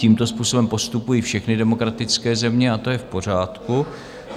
Tímto způsobem postupují všechny demokratické země a to je v pořádku.